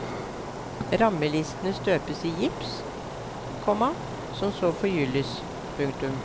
Rammelistene støpes i gips, komma som så forgylles. punktum